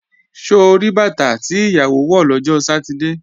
Ṣo rí bàtà tí ìyàwó wọ̀ lọ́jọ́ Sátidé?